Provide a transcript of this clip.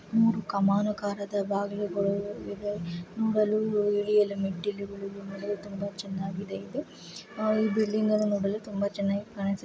ಮೂರು ಕಮಾನುಕಾರದ ಬಾಗಿಲುಗಳು ಇವೆ ನೋಡಲು ಇಳಿಯಲು ಮೆಟ್ಟಿಲು ಇದೆ. ಮನೆ ತುಂಬಾ ಚೆನ್ನಾಗಿ ಇದೆ ಈ ಬಿಲ್ಡಿಂಗ್‌ ನೋಡಲು ತುಂಬಾ ಚೆನ್ನಾಗಿ ಕಾಣಿಸ್ತಾ ಇದೆ.